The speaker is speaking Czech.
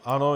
Ano.